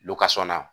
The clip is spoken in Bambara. na